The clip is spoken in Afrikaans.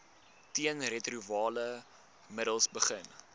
teenretrovirale middels begin